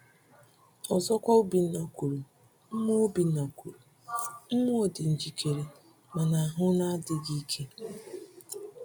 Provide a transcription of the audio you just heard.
Ọzọkwa, Obinna kwuru: “Mmụọ Obinna kwuru: “Mmụọ dị njikere, mana ahụ na-adịghị ike.”